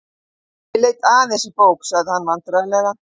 Ég leit aðeins í bók.- sagði hann vandræðalega.